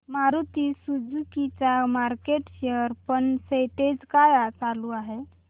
Maruti Suzuki चा market share percentage काय चालू आहे